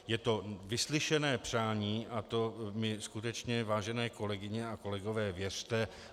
Je to vyslyšené přání a to mi skutečně, vážené kolegyně a kolegové, věřte.